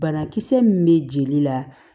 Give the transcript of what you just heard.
Banakisɛ min bɛ jeli la